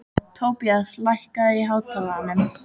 Tobías, lækkaðu í hátalaranum.